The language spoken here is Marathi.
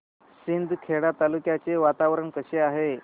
शिंदखेडा तालुक्याचे वातावरण कसे आहे